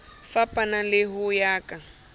fapaneng le ho ya ka